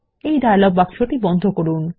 এই ডায়লগ বাক্সটি বন্ধ করুন